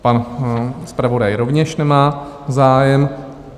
Pan zpravodaj rovněž nemá zájem.